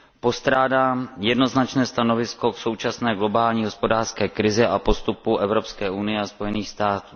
Postrádám jednoznačné stanovisko k současné globální hospodářské krizi a postupu Evropské unie a Spojených států.